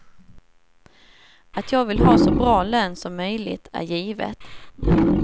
Att jag vill ha så bra lön som möjligt är givet.